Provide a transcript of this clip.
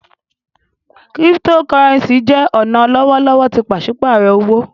Cryptocurrency jẹ ọna lọwọlọwọ ti paṣipaarọ owo.